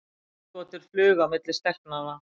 Augnagotur flugu á milli stelpnanna.